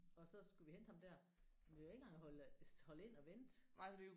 Og så skulle vi hente ham der men vi kan jo ikke engang holde holde ind og vente